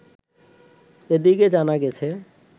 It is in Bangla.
এদিকে জানা গেছে